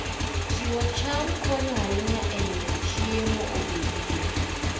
Pidh cham konyo ahinya e miyo chiemo obedie.